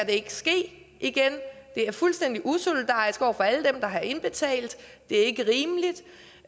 ikke ske igen det er fuldstændig usolidarisk over for alle dem der har indbetalt det er ikke rimeligt